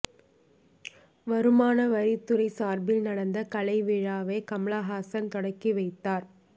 வருமான வரித்துறை சார்பில் நடந்த கலை விழாவை கமல்ஹாசன் தொடங்கி வைத்தார்